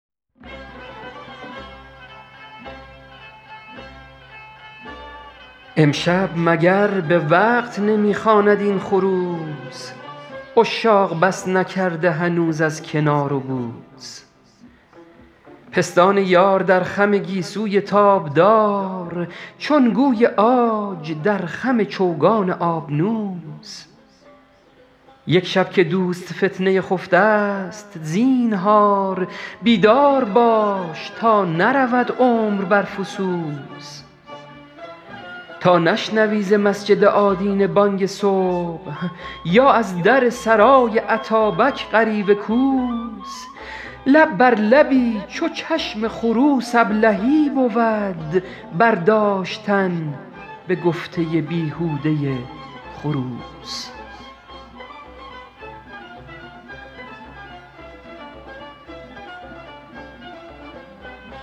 امشب مگر به وقت نمی خواند این خروس عشاق بس نکرده هنوز از کنار و بوس پستان یار در خم گیسوی تابدار چون گوی عاج در خم چوگان آبنوس یک شب که دوست فتنه خفته ست زینهار بیدار باش تا نرود عمر بر فسوس تا نشنوی ز مسجد آدینه بانگ صبح یا از در سرای اتابک غریو کوس لب بر لبی چو چشم خروس ابلهی بود برداشتن به گفته بیهوده خروس